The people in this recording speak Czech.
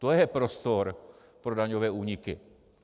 To je prostor pro daňové úniky.